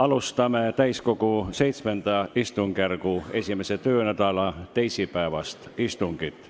Alustame täiskogu VII istungjärgu 1. töönädala teisipäevast istungit.